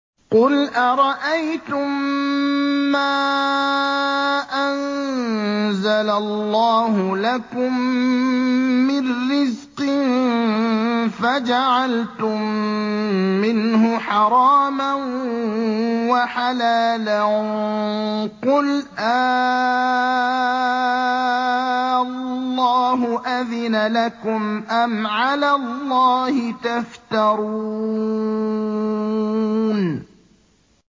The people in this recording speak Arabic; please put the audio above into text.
قُلْ أَرَأَيْتُم مَّا أَنزَلَ اللَّهُ لَكُم مِّن رِّزْقٍ فَجَعَلْتُم مِّنْهُ حَرَامًا وَحَلَالًا قُلْ آللَّهُ أَذِنَ لَكُمْ ۖ أَمْ عَلَى اللَّهِ تَفْتَرُونَ